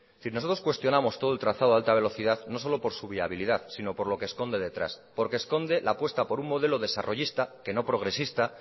es decir nosotros cuestionamos todo el trazado de alta velocidad no solo por su viabilidad sino por lo que esconde detrás porque esconde la apuesta por un modelo desarrollista que no progresista